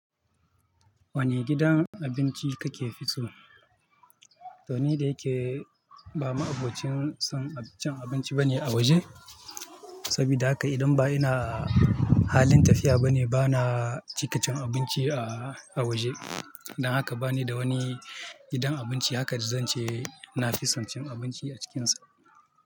Wane gidan abinci kake fi so? To ni da yake ba ma abocin son cin abinci bane a waje, saboda haka idan ba ina halin tafiya bane bana cika cin abinci a, a waje. Dan haka bani da wani gidan abinci haka da zan ce na fi son cin abinci a cikinsa.